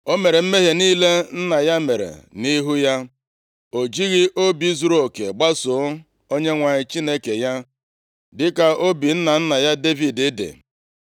O mere mmehie niile nna ya mere nʼihu ya; o jighị obi zuruoke gbasoo Onyenwe anyị Chineke ya, dịka obi nna nna ya Devid dị.